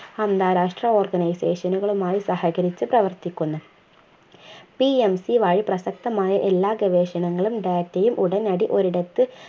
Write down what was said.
അന്താരാഷ്ട്ര organisation നുകളുമായി സഹകരിച്ചു പ്രവർത്തിക്കുന്നു PMC വഴി പ്രസക്തമായ എല്ലാ ഗവേഷണങ്ങളും data യും ഉടനടിഒരിടത്ത്